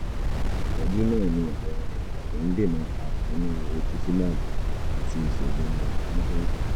ìtọ́jú náà ní àwọn èròjà tó ń dènà ààrùn nínú rituximab àti ìṣègùn oníkẹ́míkà